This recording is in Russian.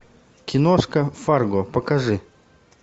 киношка фарго покажи